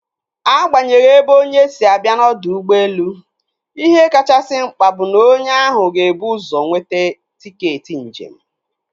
Agbanyeghi ebe onye si abịa n'ọdọ ụgbọelu, ihe kachasị mkpa bụ na onye ahụ ebu ụzọ nweta tiketi njem.